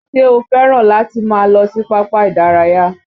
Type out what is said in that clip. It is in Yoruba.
Ṣé o fẹ́ràn láti máa lọ sí pápá ìdárayá?